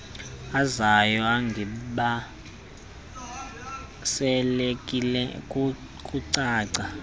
ozayo egibiselekile kukucaca